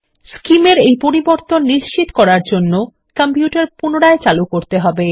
SCIM এর পরিবর্তন নিশ্চিত করার জন্য কম্পিউটার পুনরায় চালু করতে হবে